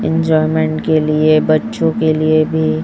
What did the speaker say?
enjoyment के लिए बच्चों के लिए भी--